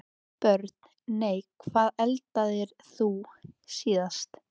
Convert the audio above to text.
Börn: Nei Hvað eldaðir þú síðast?